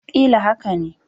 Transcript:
Ƙila haka ne